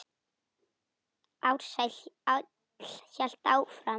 Ársæll hélt áfram.